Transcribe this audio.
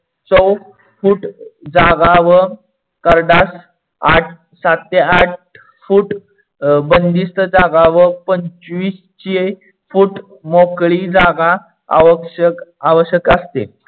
foot जागा व करडास आठ सात ते आठ foot बंदिस्त जागा व पंचविसशे foot मोकडी जागा आवश्यक असते.